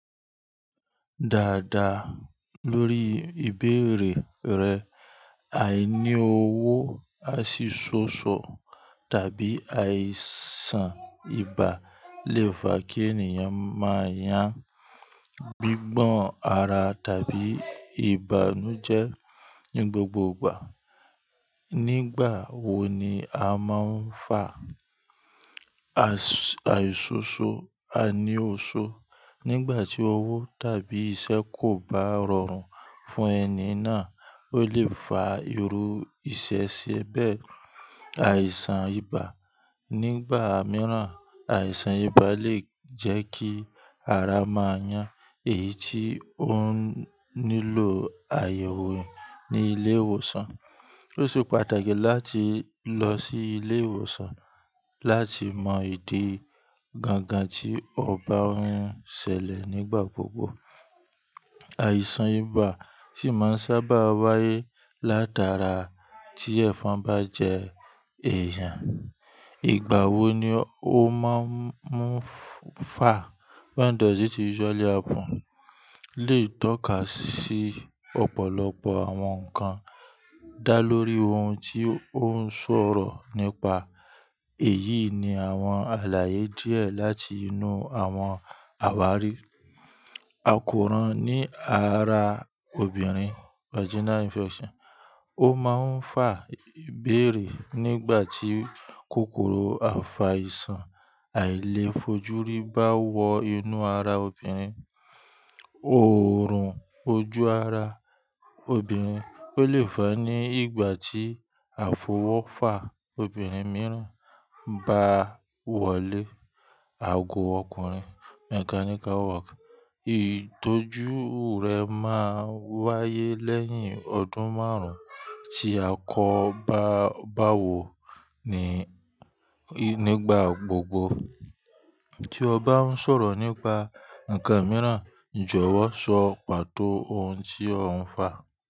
Dáadáa, lórí ìbéèrè rẹ, àìní owó, àìsí ṣòṣò tàbí àìsàn ibà lè fa kí ènìyàn máa yàn gbígbọ́n ara tàbí ìbànújẹ́ ní gbogbo ìgbà. Nígbà wo ni a máa ń fà àìsí ṣòṣò, àìní oso Nígbà tí owó tàbí iṣẹ́ kò bá rọrùn fún ẹni náà, ó lè fa irú iṣẹ́ ṣe bẹ́ẹ̀. Àìsàn ibà nígbà mìíràn, àìsàn ibà lè jẹ́ kí ara máa yàn èyí tí ó nílò àyẹ̀wò ní ilé ìwòsàn. Ó sì pàtàkì láti lọ sí ilé ìwòsàn láti mọ ìdí gangan tí ọ ba ń ṣẹlẹ̀ nígbà gbogbo. Àìsàn ibà sì máa ń sábà wáyé látara tí ẹ̀fọn bá jẹ èèyàn. Ìgbà wo ni ó máa ń fà? When does it usually happen? Leyi tọ́ka sí ọ̀pọ̀lọpọ̀ àwọn nǹkan dá lórí ohun tí ó ń sọ̀rọ̀ nípa èyí ni àwọn àlàyé díẹ̀ láti inú àwọn àwárí. Àkóràn ní ara obìnrin, vaginal infection, ó máa ń fà ìbéèrè nígbà tí kòkòrò àfàìsàn àìlèfojúrí bá wọ inú ara obìnrin. Oòrùn ojú ara obìnrin, ó lè fa ní ìgbà tí àfọwọ́fà obìnrin mìíràn bá wọlé. Ago ọkùnrin, mechanical work, ìtọ́jú rẹ̀ máa ń wáyé lẹ́yìn ọdún márùn-ún tí a kò bá wò ó nígbà gbogbo. Tí o bá ń sọ̀rọ̀ nípa ǹkan mìíràn, jọ̀wọ́ sọ pàtó ohun tí ò ń fà.